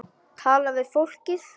Tala við fólkið.